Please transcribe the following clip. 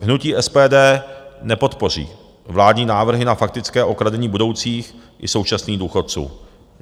Hnutí SPD nepodpoří vládní návrhy na faktické okradení budoucích i současných důchodců.